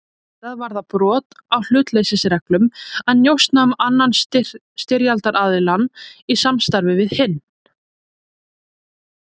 Auðvitað var það brot á hlutleysisreglum að njósna um annan styrjaldaraðiljann í samstarfi við hinn.